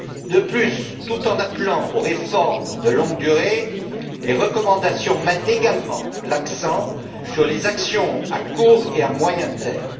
De plus, tout en appelant aux réformes de longue durée, les recommandations mettent également l'accent sur les actions à court et à moyen terme.